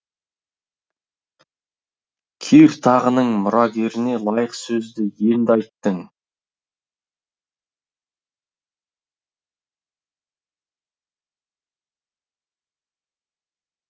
кир тағының мұрагеріне лайық сөзді енді айттың